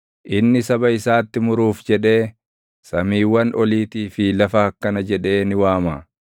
Inni saba isaatti muruuf jedhee, samiiwwan oliitii fi lafa akkana jedhee ni waama: